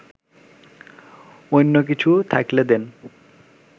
অইন্য কিছু থাকলে দেন